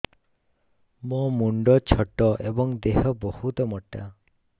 ମୋ ମୁଣ୍ଡ ଛୋଟ ଏଵଂ ଦେହ ବହୁତ ମୋଟା